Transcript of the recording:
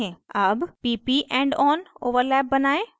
अब pp endon overlap बनायें